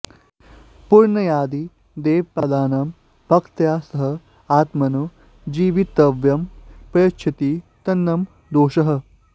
पुनर्यदि देवपादानां भक्त्या स आत्मनो जीवितव्यं प्रयच्छति तन्न दोषः